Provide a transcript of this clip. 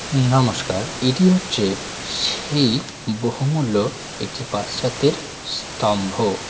নমস্কার এটি হচ্ছে সেই বহুমূল্য একটি বাচ্চাদের স্তম্ভ।